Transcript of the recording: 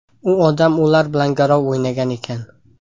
U odam ular bilan garov o‘ynagan ekan.